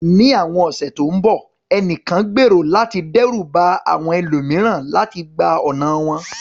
Ní àwọn ọ̀sẹ̀ tó ń bọ̀, ènìyàn gbèrò láti dẹ́rù ba àwọn ẹlòmíràn láti gba ọ̀nà wọn.